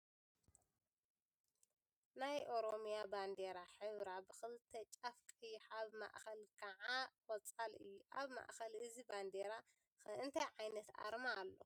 ናይ ኦሮሚያ ባንዴራ ሕብራ ብኽልተ ጫፍ ቀይሕ ኣብ ማእኸል ከዓ ቆፃል እዩ፡፡ ኣብ ማእኸል እዚ ባንዴራ ኸ እንታይ ዓይነት ኣርማ ኣሎ?